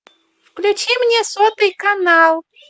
включи мне сотый канал